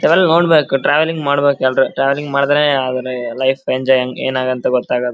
ತವೆಲ್ ನೋಡ್ಬೇಕು ಟ್ರಾವೆಲ್ಲಿಂಗ್ ಮಾಡಬೇಕಾದ್ರೆ ಟ್ರಾವೆಲ್ಲಿಂಗ್ ಮಾಡದೇನೆ ಆಮೇಲೆ ಲೈಫ್ ಎಂಜೋಯ್ ಏನ್ ಆಗುತ್ತೆ ಗೊತ್ತಾಗೋದು .